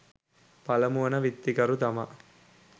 පළමු වන විත්තිකරු තමා